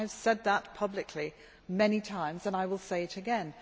I have said that publicly many times and I will say it again.